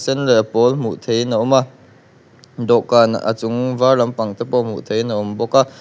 sen leh a pawl hmuh theihin a awm a dawhkan a chung var lampang pawh te pawh hmuh theihin a awm bawka--